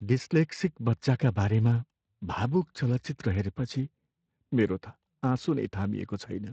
Dyslexic बच्चाका बारेमा भावुक चलचित्र हेरेपछि मेरो त आँसु नै थामिएको छैन।